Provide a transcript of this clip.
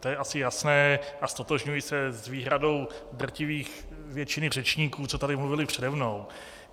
To je asi jasné a ztotožňuji se s výhradou drtivých většiny řečníků, co tady mluvili přede mnou.